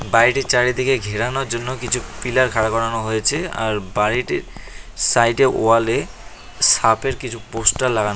বাড়িটির চারিদিকে ঘেরানোর জন্য কিছু পিলার খাড়া করানো হয়েছে আর বাড়িটির সাইড এ ওয়াল এ সাপের কিছু পোস্টার লাগানো।